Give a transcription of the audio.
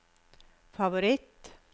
favoritt